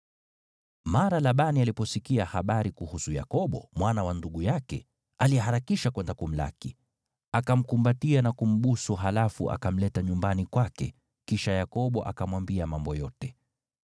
Mara Labani aliposikia habari kuhusu Yakobo, mwana wa ndugu yake, aliharakisha kwenda kumlaki. Akamkumbatia na kumbusu, halafu akamleta nyumbani kwake, kisha Yakobo akamwambia mambo yote.